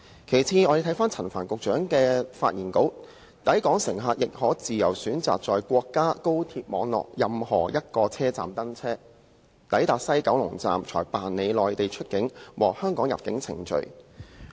其次，陳帆局長的發言稿又提到"抵港乘客亦可......自由選擇在國家高鐵網絡任何一個車站登車，抵達西九龍站才辦理內地出境和香港入境程序"。